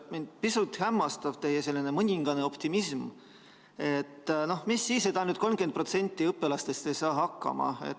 Mind pisut hämmastab teie mõningane optimism, et mis siis ikka, ainult 30% õpilastest ei saa hakkama.